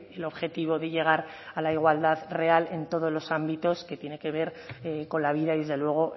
el objetivo de llegar a la igualdad real en todos los ámbitos que tiene que ver con la vida y desde luego